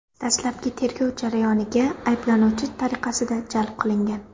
dastlabki tergov jarayoniga ayblanuvchi tariqasida jalb qilingan.